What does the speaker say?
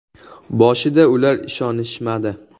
Boshida ular ishonishmadi.